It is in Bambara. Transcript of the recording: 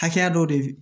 Hakɛya dɔ de bɛ